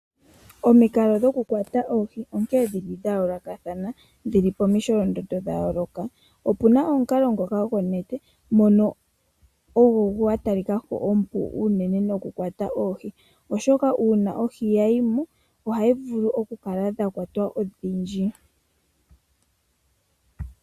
Omikalo dhokukwata oohi odha yoolokathana. Opu na omukalo gokulongitha onete, ngono ogo gwa talika ko ogo omukalo omupu gokukwata oohi, oshoka uuna ohi ya yi mo ohadhi vulu okukala dha kwatwa odhindji.